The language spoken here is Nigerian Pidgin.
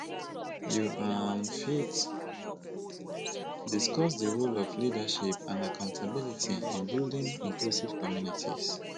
you um fit discuss di role of leadership and accountability in building inclusive communities